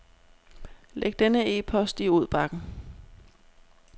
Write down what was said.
Læg denne e-post i udbakken.